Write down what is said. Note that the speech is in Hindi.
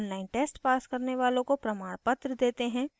online test pass करने वालों को प्रमाणपत्र देते हैं